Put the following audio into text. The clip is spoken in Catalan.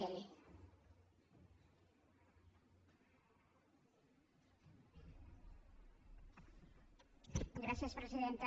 gràcies presidenta